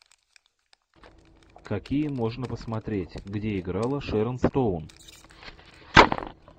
какие можно посмотреть где играла шэрон стоун